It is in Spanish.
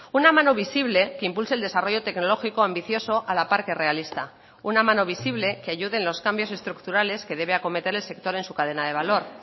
una mano visible que impulse el desarrollo tecnológico ambicioso a la par que realista una mano visible que ayude en los cambios estructurales que debe acometer el sector en su cadena de valor